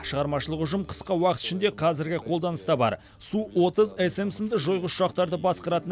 шығармашылық ұжым қысқа уақыт ішінде қазіргі қолданыста бар су отыз см сынды жойғыш ұшақтарды басқаратын